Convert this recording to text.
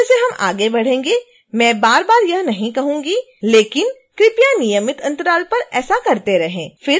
जैसे जैसे हम आगे बढ़ेंगे मैं बारबार यह नहीं कहूंगी लेकिन कृपया नियमित अंतराल पर ऐसा करते रहें